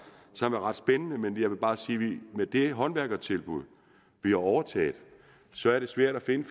som er ret spændende men jeg vil bare sige at det med det håndværkertilbud vi har overtaget så er svært at finde